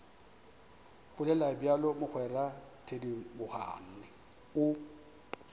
bolela bjalo mogwera thedimogane o